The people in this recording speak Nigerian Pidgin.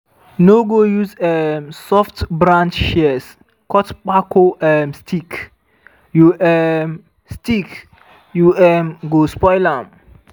no go use um soft-branch shears cut kpako um stick you um stick you um go spoil am.